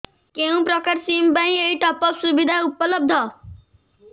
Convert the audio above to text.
କେଉଁ ପ୍ରକାର ସିମ୍ ପାଇଁ ଏଇ ଟପ୍ଅପ୍ ସୁବିଧା ଉପଲବ୍ଧ